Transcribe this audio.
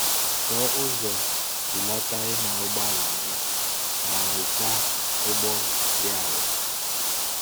Chọọ ụzọ belata ịnya ụgbọala gị ma nweta ụgwọ dị ala.